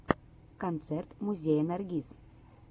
концерт музея наргиз